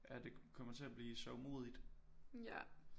Ja det kommer til at blive sørgmodigt